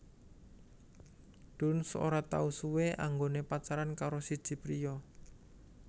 Dunst ora tau suwe anggoné pacaran karo siji priya